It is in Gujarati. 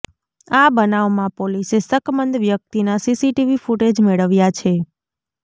આ બનાવમાં પોલીસે શકમંદ વ્યક્તિના સીસીટીવી ફૂટેજ મેળવ્યા છે